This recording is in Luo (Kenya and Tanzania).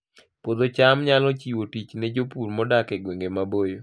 Puodho cham nyalo chiwo tich ne jopur modak e gwenge maboyo